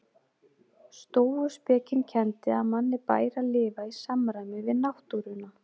Stóuspekin kenndi að manni bæri að lifa í samræmi við náttúruna.